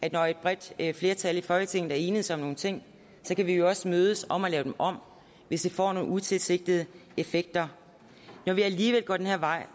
at når et bredt flertal i folketinget er enedes om nogle ting så kan vi jo også mødes om at lave dem om hvis det får nogle utilsigtede effekter når vi alligevel går den her vej